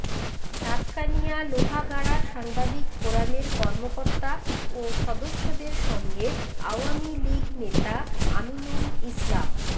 সাতকানিয়া লোহাগাড়া সাংবাদিক ফোরামের কর্মকর্তা ও সদস্যদের সঙ্গে আওয়ামী লীগ নেতা আমিনুল ইসলাম